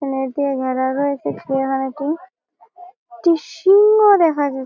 net দিয়ে ঘেরা রয়েছে চিড়িয়াখানাটি একটি সিংহ দেখা যা--